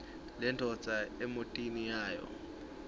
lendvodza emotini yayo